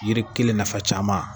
Yiri kelen nafa caman.